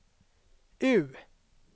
U